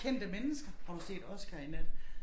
Kendte mennesker har du set Oscar i nat